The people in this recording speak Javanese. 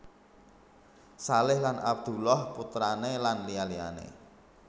Shalih Lan Abdullah putrane lan liya liyane